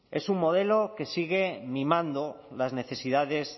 es un modelo que sigue mimando las necesidades